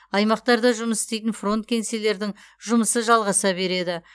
аймақтарда жұмыс істейтін фронт кеңселердің жұмысы жалғаса береді